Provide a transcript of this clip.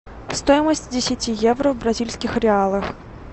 стоимость десяти евро в бразильских реалах